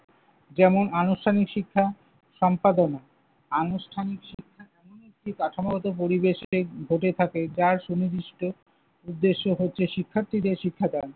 যেমন, আনুষ্ঠানিক শিক্ষা, সম্পাদনা। আনুষ্ঠানিক শিক্ষা সেই কাঠামোগত পরিবেশে ঘটে থাকে যার সুনির্দিষ্ট উদ্দেশ্য হচ্ছে শিক্ষার্থীদের শিক্ষা দান।